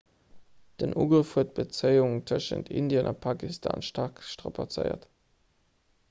den ugrëff huet d'bezéiung tëschent indien a pakistan staark strapazéiert